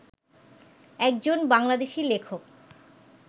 একজন বাংলাদেশী লেখক